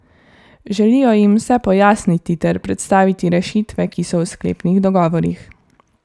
Želijo jim vse pojasniti ter predstaviti rešitve, ki so v sklepnih dogovorih.